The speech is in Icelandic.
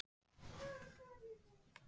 Sóla, hvaða myndir eru í bíó á föstudaginn?